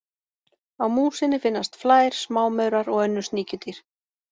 Á músinni finnast flær, smámaurar og önnur sníkjudýr.